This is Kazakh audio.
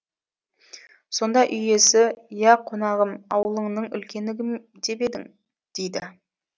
сонда үй иесі ия қонағым ауылыңның үлкені кім деп едің дейді